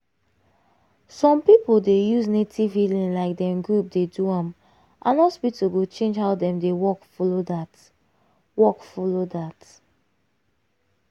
some people dey use native healing like dem group dey do am and hospital go change how dem dey work follow that. work follow that.